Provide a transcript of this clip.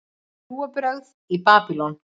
Trúarbrögð í Babýlon